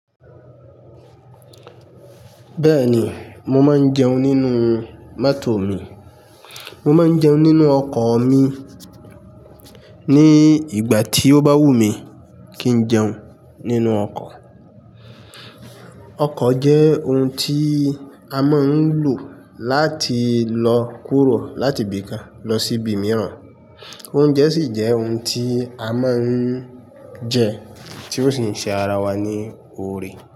Bẹ́ẹ̀ni, mo máa ń jẹun nínú mọ́tò mi. Mo máa ń jẹun nínú ọkọ̀ mi ní ìgbà tí ó bá wù mí kí n jẹun nínú ọkọ̀. Ọkọ̀ jẹ́ ohun tí a máa ń lò láti lọ kúrò láti ibi kan lọ sí ibi mìíràn. Oúnjẹ sì jẹ́ ohun tí a máa ń jẹ tí ó sì ń ṣe ara wa ní oore.